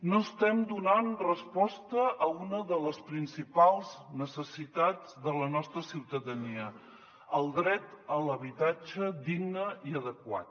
no estem donant resposta a una de les principals necessitats de la nostra ciutadania el dret a l’habitatge digne i adequat